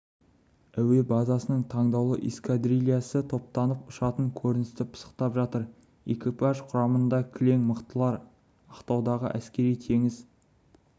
әуе базасының таңдаулы эскадрильясы топтанып ұшатын көріністі пысықтап жатыр экипаж құрамында кілең мықтылар ақтаудағы әскери теңіз